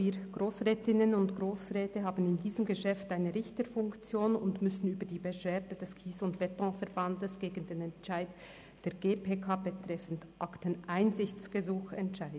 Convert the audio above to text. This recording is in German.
Wir Grossrätinnen und Grossräte haben in diesem Geschäft eine Richterfunktion und müssen über die Beschwerde des KSE Bern gegen den Entscheid der GPK betreffend Akteneinsichtsgesuch entscheiden.